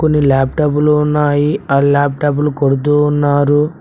కొన్ని లాప్టాప్ లు ఉన్నాయి ఆ లాప్టాప్ లు కొడుతూ ఉన్నారు.